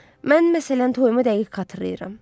Mən məsələn toyumu dəqiq xatırlayıram.